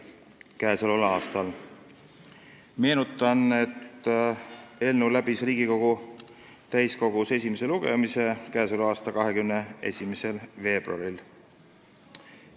Meenutan, et eelnõu esimene lugemine Riigikogu täiskogus oli 21. veebruaril.